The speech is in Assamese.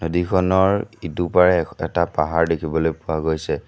নদীখনৰ ইটো পাৰে এটা পাহাৰ দেখিবলৈ পোৱা গৈছে।